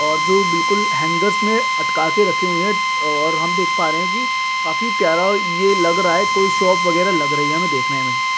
और जो बिलकुल हैंगर्स में अटकाके रखे हुए हैं और हम देख पा रहे है की काफी प्यारा ये लग रहा है कोई शॉप वगेरा लग रही है हमे देखने में।